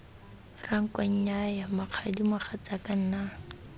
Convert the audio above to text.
ranko nnyaya mokgadi mogatsaka nna